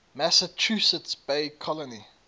massachusetts bay colony